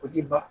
O ti ban